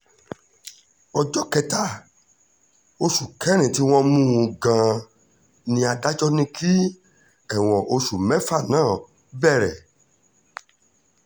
ọjọ́ kẹta oṣù kẹrin tí wọ́n mú-un gan-an ni adájọ́ ní kí ẹ̀wọ̀n oṣù mẹ́fà náà bẹ̀rẹ̀